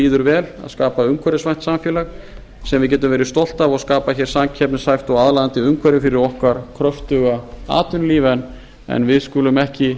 líður vel að skapa umhverfisvænt samfélag sem við getum verið stolt af og skapa hér samkeppnishæft og aðlaðandi umhverfi fyrir okkar kröftuga atvinnulíf en við skulum ekki